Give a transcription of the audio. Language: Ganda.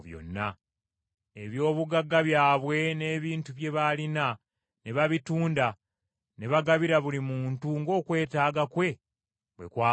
Eby’obugagga byabwe n’ebintu bye baalina ne babitunda ne bagabira buli muntu ng’okwetaaga kwe bwe kwabanga.